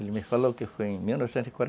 Ele me falou que foi em mil novecentos e quarenta